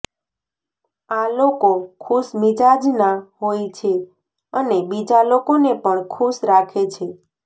આ લોકો ખુશમિજાજના હોય છે અને બીજા લોકોને પણ ખુશ રાખે છે